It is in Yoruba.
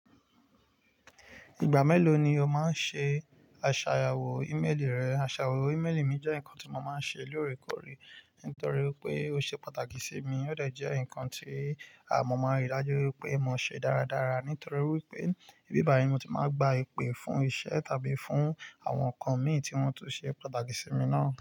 Ìgbà mélòó ni o máa ń ṣe àṣàyàwò ímélì rẹ? Àṣàyàwò ímélì mi jẹ́ nǹkan tí mo máa ń ṣe lóòrèkóòrè, nítorí pé ó ṣe pàtàkì sí mi. Ó dẹ̀ jẹ́ nǹkan tí à ọmọ mi rí i dájú wípé mo ṣe dáradára, nítorí wípé ní bíbàyen ni mo ti máa ń gba ìpè fún iṣẹ́ tàbí fún àwọn nǹkan mi tí wọ́n tún ṣe pàtàkì sí mi náà.